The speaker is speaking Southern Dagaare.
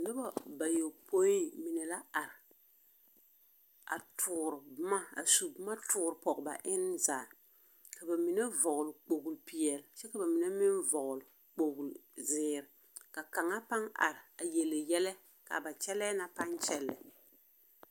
Nobɔ bayɔpõĩ mine la are, a toor boma asu boma toor pɔge ba enne zaa, ka ba mine vɔglle kpogli-peɛl kyɛ ka ba mine meŋ vɔgle kpogli zeer ka kaŋa paŋ are a yele yɛlɛ kyɛ kaa ba kyɛlɛɛ na paŋ kyɛllɛ.